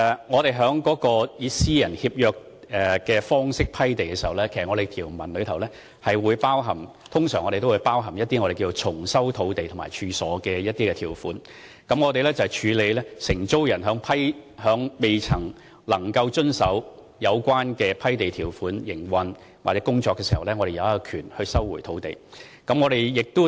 我們以私人協約方式批地時，當中的條文通常會包含我們稱為重收土地和處所的條款，當承租人在未能遵守有關批地條款的情況下營運或工作時，政府有權收回土地。